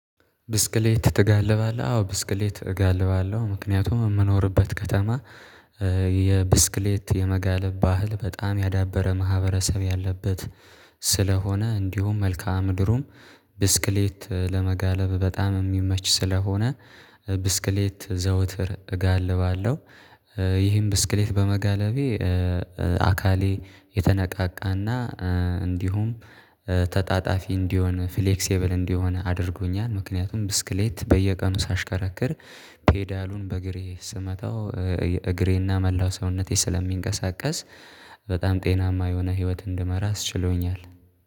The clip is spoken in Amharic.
ብስክሌት ትጋልባለህ አዎ ብስክሌት እጋልባለሁ ምክንያቱም የምኖርበት ከተማ የብስክሌት የመጋለብ ባህል በጣም ያዳበረ ማህበረሰብ ያለበት ስለሆነ እንዲሁም መልካአ ምድሩም ብስክሌት ለመጋለብ በጣም የሚመች ስለሆነ። ብስክሌት ዘውትር እጋልባለሁ። ይህን ብስክሌት በመጋለቤ አካሌ የተነቃቃና እንዲሁም ተጣጣፊ እንዲሆን ፍሌክሲብል እንዲሆን አድርጎኛል። ምክንያቱም ብስክሌት በየቀኑ ሳሽከራክር ፔዳሉን በእግሬ ስመታው እግሬና መላው ሰውነቴ ስለሚንቀሳቀስ በጣም ጤናማ የሆነ ህይወት እንድመራ አስችሎኛል